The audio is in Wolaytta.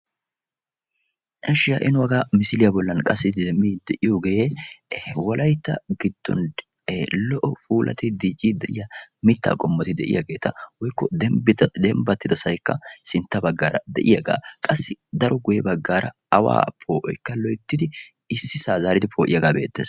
ishsh ha'i nu hagaa misiliya bollan qassi demmiidi de'iyoogee wolaytta giddon lo''o puulattidi dicciidi de'iya mitta qommoti de'iyaageeta woykko dembbatida sohoykka sintta baggaara qassi daro guyye baggaara awa poo'oykka loyttidi ississa poo'iyaaga be'eettees.